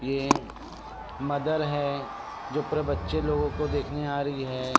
ये मदर है जो पुरे बच्चे लोगो को देखने आ रही है।